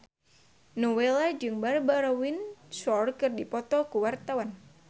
Nowela jeung Barbara Windsor keur dipoto ku wartawan